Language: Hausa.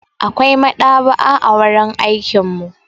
Akwai maɗaba'a a wurin aikin mu.